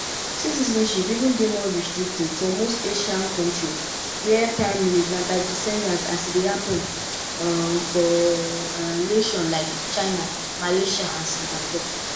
one 2013 supreme court ruling bin strip ten s of thousands - mostly of haitian descent - of dia dominican nationality.